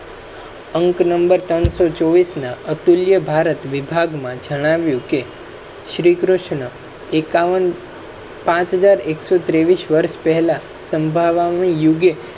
અંક નંબર ત્રણ સો ચોબીસ અતુલ્ય ભારત વિભાગ મા જણાવ્યુ છે કે શ્રી કૃષ્ણ એકાવન પાંચ હજાર એક સો ત્રેવીસ વર્ષ પહેલા સંભાવામા યુગે